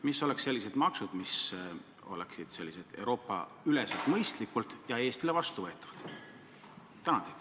Mis oleksid sellised maksud, mis oleksid euroopaüleselt mõistlikud ja Eestile vastuvõetavad?